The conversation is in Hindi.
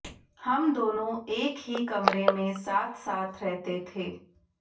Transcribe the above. हम दोनों एक ही कमरे में साथ साथ रहते थे